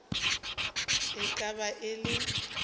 e ka be e le